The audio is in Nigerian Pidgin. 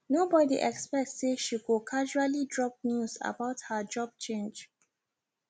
nobody expect say she go casually drop news about her job change